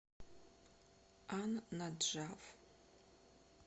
ан наджаф